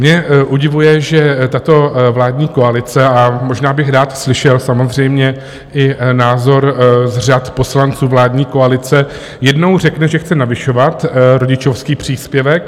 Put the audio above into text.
Mě udivuje, že tato vládní koalice, a možná bych rád slyšel samozřejmě i názor z řad poslanců vládní koalice, jednou řekne, že chce navyšovat rodičovský příspěvek.